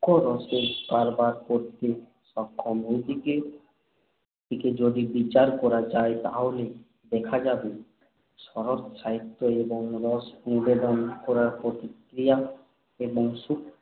সূক্ষ্ম রসের কারবার করতে সক্ষম এইদিক থেকে যদি বিচার করা যায় তাহলে দেখা যাবে, শরৎসাহিত্যে এই রস নিবেদন করার প্রতিক্রিয়া এবং সূক্ষ্ম